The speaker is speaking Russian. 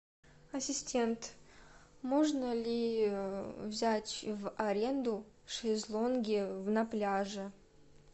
ассистент можно ли взять в аренду шезлонги на пляже